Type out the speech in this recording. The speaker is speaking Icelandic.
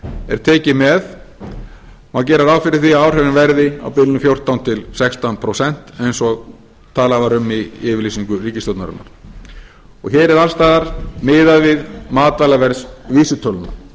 er tekið með má gera ráð fyrir því að áhrifin verði á bilinu fjórtán til sextán prósent eins og talað var um í yfirlýsingu ríkisstjórnarinnar hér er alls staðar miðað við matvælaverðsvísitöluna